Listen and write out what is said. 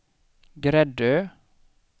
Gräddö